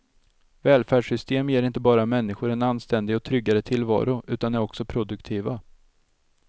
Välfärdssystem ger inte bara människor en anständig och tryggare tillvaro utan är också produktiva.